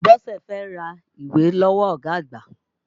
Bọ́sẹ̀ fẹ́ ra ìwé lọ́wọ́ ọ̀gá àgbà.